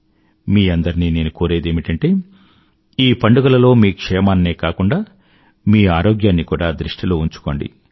మీ అందరినీ నేను కోరేది ఏమిటంటే ఈ పండుగలలో మీ క్షేమాన్నే కాకుండా మీ అరోగ్యాన్ని కూడా దృష్టిలో ఉంచుకోండి